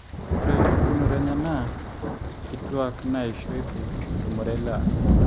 ore empukunoto enye naa nkituak neisho eitu etumore lewa